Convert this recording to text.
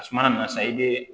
A suma nana sa i bɛ